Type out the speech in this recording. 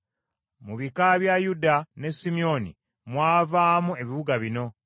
Mu bika bya Yuda ne Simyoni mwavaamu ebibuga bino: